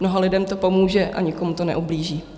Mnoha lidem to pomůže a nikomu to neublíží.